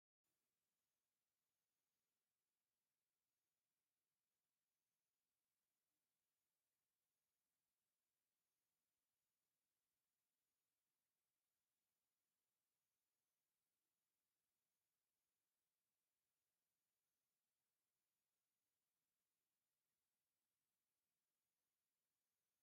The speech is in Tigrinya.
እዞም ስድራቤት ኮይኖም ናይገጠር እንትኮን ወላዲቶም ናይ ባህላዊ ክዳን ተክዲኖም ውላደን ሓቅፈን ብየማን ፀጋምን ደቂ ጠጠው ኢሎም እዘን ሰበይቲ ወይ ወላዲት ዝተቆኖኖኦ ባህላዊ ቀኖ ኮይኑ እንታይ እደተበሃለ ይፅዋዕ?